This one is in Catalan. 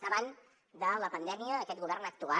davant de la pandèmia aquest govern ha actuat